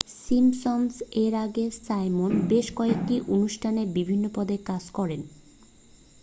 Simpson's এর আগে Simon বেশ কয়েকটি অনুষ্ঠানে বিভিন্ন পদে কাজ করেন